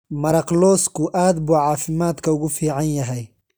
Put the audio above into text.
Maraq lawsku aad buu caafimaadka ugu fiican yahay.